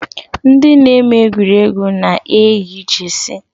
Ndị na-eme egwuregwu na-eyi Jeesi